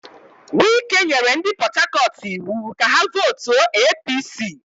Wike nyere ndị Port Harcourt iwu ka ha vootuo APC.